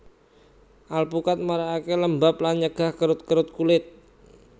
Alpukat marakaké lembab lan nyegah kerut kerut kulit